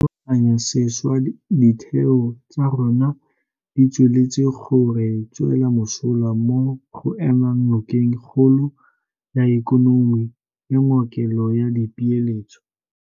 Dikgato tsa go rulaganya sešwa ditheo tsa rona di tsweletse go re tswela mosola mo go emeng nokeng kgolo ya ikonomi le ngokelo ya dipeeletso.